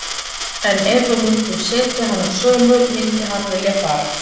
En ef að við myndum setja hann á sölu myndi hann vilja fara?